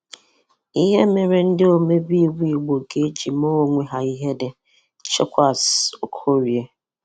ihe mere ndị omebe iwu Igbo ga-eji mee onwe ha ihere - Chekwas Okorie.